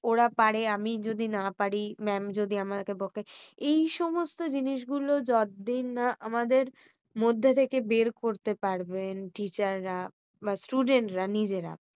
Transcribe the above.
ওরা পারে আমি যদি না পারি। mam যদি আমাকে বকে, এই সমস্ত জিনিস গুলো যতদিন না আমাদের মধ্য থেকে বের করতে পারবেন। teacher রা বা student রা নিজেরা